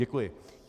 Děkuji.